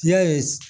Ya ye